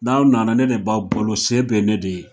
N'aw nana ne de b'aw balo se bɛ ne de ye.